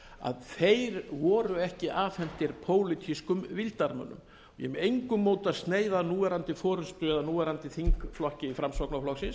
að þeir voru ekki afhentir pólitískum vildarmönnum ég er með engu móti að sneiða að núverandi forustu eða núverandi þingflokki framsóknarflokksins